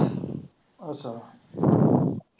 ਅੱਛਾ